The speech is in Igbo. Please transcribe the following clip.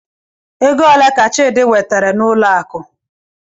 Ego ole ka Chidi wetere n'ụlọ akụ?